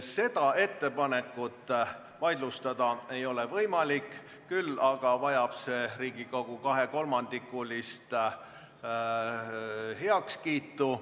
Seda ettepanekut vaidlustada ei ole võimalik, küll aga vajab see Riigikogult kahekolmandikulist heakskiitu.